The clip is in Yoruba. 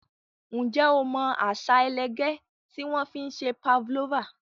Ǹjẹ́ o mọ àṣà ẹlẹgẹ́ tí wọ́n fi ń se pavlova?